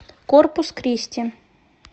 корпус кристи